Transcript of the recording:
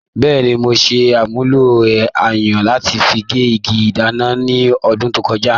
Bẹ́ẹ̀ni, mo ṣe àmúlò ayùn láti fi gé igi ìdáná ní ọdún tó kọjá.